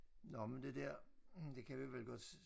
Nåh men det der det kan vi vel godt